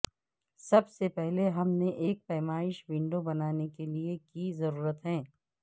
سب سے پہلے ہم نے ایک پیمائش ونڈو بنانے کے لئے کی ضرورت ہے